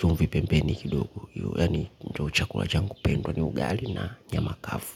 chumvi pembeni kidogo yaani ndiyo chakula changu pendwa ni ugali na nyama kavu.